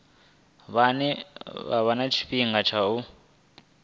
vha wane tshifhinga tsha u